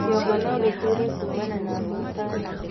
kĩongo nogĩgũtuure kuumana na hũũta nene